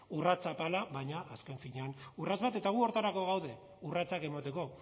urrats apala baina azken finean urrats bat eta gu horretarako gaude urratsak emateko